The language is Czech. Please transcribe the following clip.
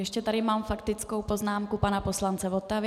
Ještě tady mám faktickou poznámku pana poslance Votavy.